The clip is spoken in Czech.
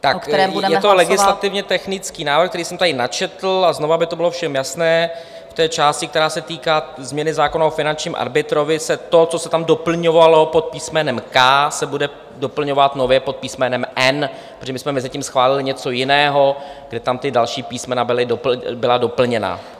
Je to legislativně technický návrh, který jsem tady načetl, a znova, aby to bylo všem jasné v té části, která se týká změny zákona o finančním arbitrovi, se to, co se tam doplňovalo pod písmenem k) se bude doplňovat nově pod písmenem n), protože my jsme mezitím schválili něco jiného, kde tam ta další písmena byla doplněna.